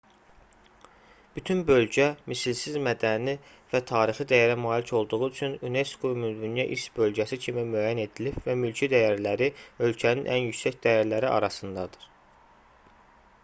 bütün bölgə misilsiz mədəni və tarixi dəyərə malik olduğu üçün unesco ümumdünya i̇rs bölgəsi kimi müəyyən edilib və mülki dəyərləri ölkənin ən yüksək dəyərləri arasındadır